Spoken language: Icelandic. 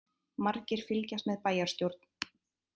Margir fylgjast með bæjarstjórn